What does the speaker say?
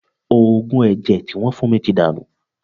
Òògùn ẹ̀jẹ̀ tí wọ́n fún mi ti dànù